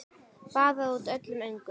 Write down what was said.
Baðaði út öllum öngum.